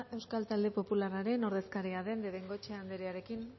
euskal talde popularraren ordezkaria den de bengoechea anderearekin